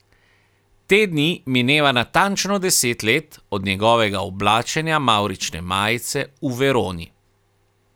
Te dni mineva natančno deset let od njegovega oblačenja mavrične majice v Veroni.